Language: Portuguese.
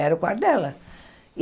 Era o quarto dela.